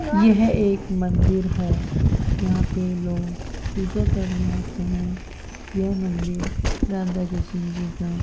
यह एक मंदिर है यहां पे लोग पूजा करने आते हैं यह मंदिर राधा कृष्ण जी का --